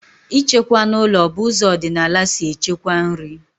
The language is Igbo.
Ịchekwa n'ụlọ bụ ụzọ ọdịnala si echekwa nri